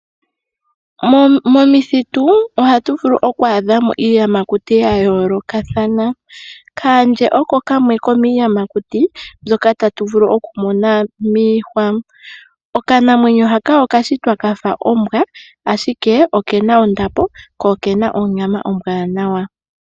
Momithitu ohatu vulu ku adha mo iiyamakuti ya yoolokathana. Kaandje oko kamwe komiiyamakuti mbyoka tatu vulu okumona miihwa. Okanamwenyo haka okashitwa kafa ombwa ashike okena ondapo ko okena onyama ombwaanawa.